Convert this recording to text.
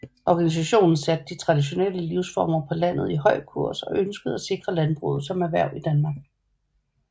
Organisationen satte de traditionelle livsformer på landet i høj kurs og ønskede at sikre landbruget som erhverv i Danmark